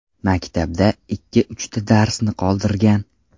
Maktabda ikki-uchta darsni qoldirgan.